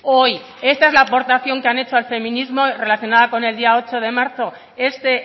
hoy esta es la aportación que han hecho al feminismo relacionada con el día ocho de marzo este